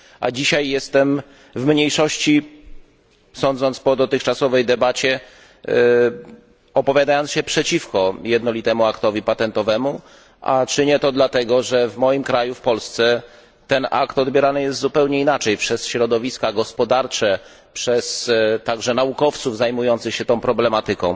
A dzisiaj jestem w mniejszości sądząc po dotychczasowej debacie opowiadając się przeciwko jednolitemu aktowi patentowemu, a czynię to dlatego, że w moim kraju, w Polsce, ten akt odbierany jest zupełnie inaczej przez środowiska gospodarcze, także przez naukowców zajmujących się tą problematyką.